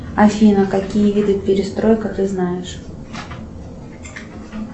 афина какие виды перестройка ты знаешь